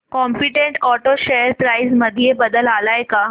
competent auto share price मध्ये बदल आलाय का